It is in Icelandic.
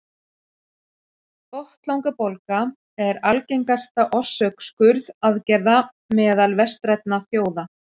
botnlangabólga er algengasta orsök skurðaðgerða meðal vestrænna þjóða